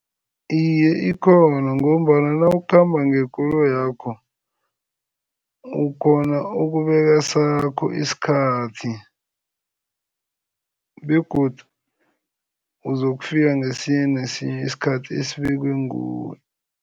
Iye, ikhona ngombana nawukhamba ngekoloyakho, ukghona ukubeka sakho isikhathi begodu uzokufika ngesinye nesinye isikhathi esibekwe nguwe.